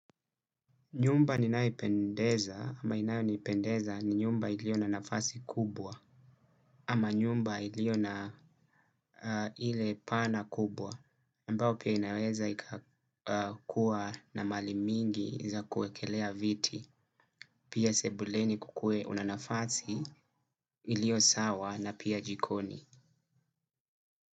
Nyumba ninaipendeza, ama inayo nipendeza ni nyumba ilio na nafasi kubwa, ama nyumba ilio na ile pana kubwa, ambayo pia inaweza ikakuwa na mali mingi za kuwekelea viti, pia sebuleni kukuwe una nafasi ilio sawa na pia jikoni.